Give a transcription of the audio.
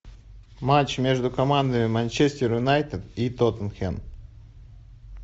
матч между командами манчестер юнайтед и тоттенхэм